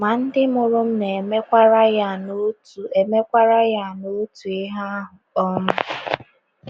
Ma, ndị mụrụ m na - emekwa Rayan otu emekwa Rayan otu ihe ahụ. um